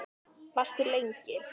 Varstu lengi?